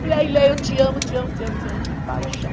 Falei, aí, Lea, eu te amo, te amo, te amo, te amo de paixão.